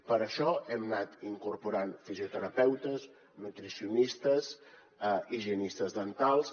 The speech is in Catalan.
per això hem anat incorporant fisioterapeutes nutricionistes higienistes dentals